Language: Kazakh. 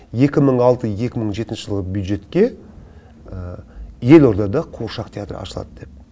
екі мың алты екі мың жетінші жылғы бюджетке елордада қуыршақ театры ашылады деп